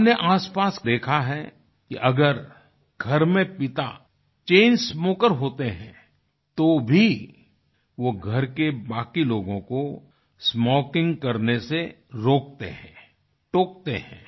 हमनें आसपास देखा है कि अगर घर में पिता चैन स्मोकर होते हैं तो भी वो घर के बाकी लोगों को स्मोकिंग करने से रोकते हैं टोकते हैं